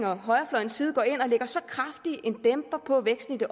og højrefløjens side går ind og lægger en så kraftig dæmper på væksten i det